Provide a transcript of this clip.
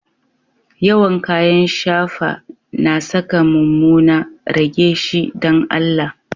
Yawan kayan shafa na sa ka mumuna, rage shi dan Allah.